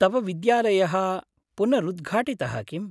तव विद्यालयः पुनरुद्घाटितः किम्?